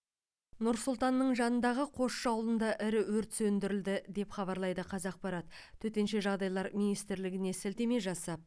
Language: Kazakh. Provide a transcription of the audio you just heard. нұр сұлтанның жанындағы қосшы ауылында ірі өрт сөндірілді деп хабарлайды қазақпарат төтенше жағдайлар министрлігіне сілтеме жасап